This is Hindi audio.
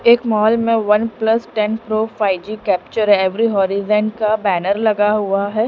एक मॉल में one plus ten pro five G capture every horizon का बैनर लगा हुआ है।